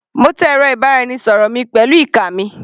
Mo tẹ ẹ̀rọ ìbánisọ̀rọ̀ mi pẹ̀lú ìka mi.